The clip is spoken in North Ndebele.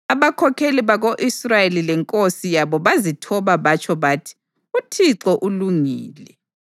Abakhokheli bako-Israyeli lenkosi yabo bazithoba batsho bathi, “ uThixo ulungile.”